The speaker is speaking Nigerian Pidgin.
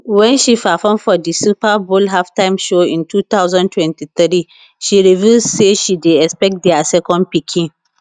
wen she perform for di super bowl halftime show in 2023 she reveal say she dey expect dia second pikin